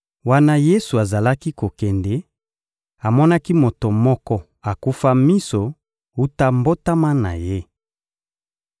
Wana Yesu azalaki kokende, amonaki moto moko akufa miso wuta mbotama na ye.